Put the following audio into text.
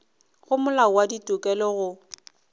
go molao wa ditokelo go